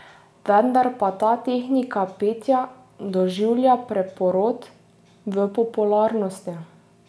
Vendar pa ta tehnika petja doživlja preporod v popularnosti.